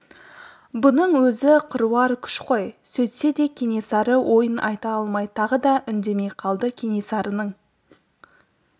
бұның өзі қыруар күш қой сөйтсе де кенесары ойын айта алмай тағы да үндемей қалды кенесарының